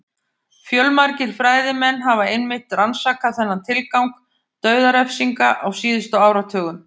Fjölmargir fræðimenn hafa einmitt rannsakað þennan tilgang dauðarefsinga á síðustu áratugum.